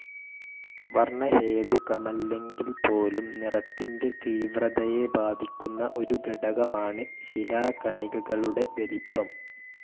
വർണഹേതുകമല്ലെങ്കിൽപോലും നിറത്തിന്റെ തീവ്രതയെ ബാധിക്കുന്ന ഒരു ഘടകമാണ് ശിലാകണികകളുടെ വലിപ്പം.